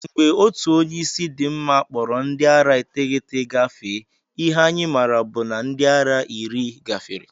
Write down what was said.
Mgbe otu onye isi di mma kpọrọ ndi ara Iteghete gafee, ihe anyi mara bụ na ndi ara iri gafere.